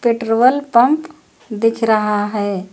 Petrol pump दिख रहा है।